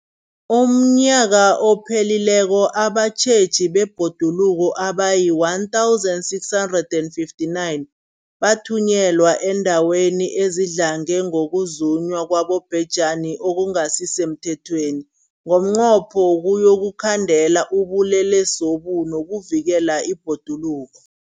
UmNnyaka ophelileko abatjheji bebhoduluko abayi-1 659 bathunyelwa eendaweni ezidlange ngokuzunywa kwabobhejani okungasi semthethweni ngomnqopho wokuyokukhandela ubulelesobu nokuvikela ibhoduluko.